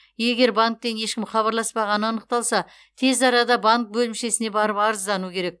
егер банктен ешкім хабарласпағаны анықталса тез арада банк бөлімшесіне барып арыздану керек